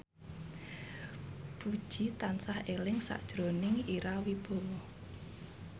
Puji tansah eling sakjroning Ira Wibowo